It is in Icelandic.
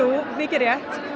mikið rétt